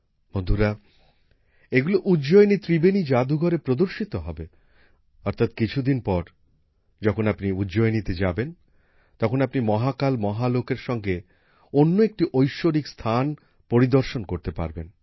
বন্ধুরা এগুলো উজ্জয়িনীর ত্রিবেণী যাদুঘরে প্রদর্শিত হবে অর্থাৎ কিছুদিন পর যখন আপনি উজ্জয়িনীতে যাবেন তখন আপনি মহাকাল মহালোকের সঙ্গে অন্য একটি ঐশ্বরিক স্থান পরিদর্শন করতে পারবেন